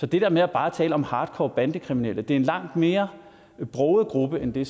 det der med bare at tale om hardcore bandekriminelle vil en langt mere broget gruppe end det